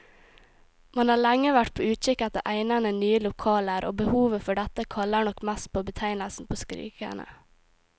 Man har lenge vært på utkikk etter egnede, nye lokaler, og behovet for dette kaller nok mest på betegnelsen skrikende.